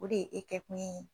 O de ye e kɛ kun ye.